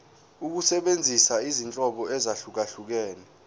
ukusebenzisa izinhlobo ezahlukehlukene